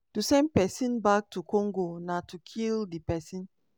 to send pesin back to congo na to kill di pesin."